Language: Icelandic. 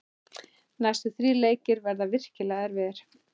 Næstu þrír leikir verða virkilega erfiðir.